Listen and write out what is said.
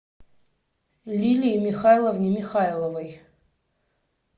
лилии михайловне михайловой